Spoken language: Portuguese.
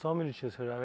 um minutinho, senhor.